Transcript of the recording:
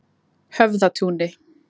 Höfðatúni